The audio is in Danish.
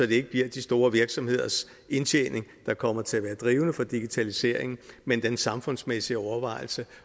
det ikke bliver de store virksomheders indtjening der kommer til at være drivende for digitaliseringen men den samfundsmæssige overvejelse